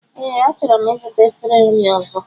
Ee, achọrọ m ịzụta efere nri ọzọ